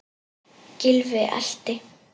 Gylfi elti.